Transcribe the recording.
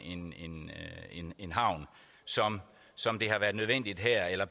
en havn sådan som det har været nødvendigt her eller